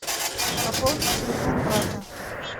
пополни телефон брата